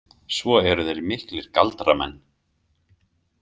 Svo eru þeir miklir galdramenn.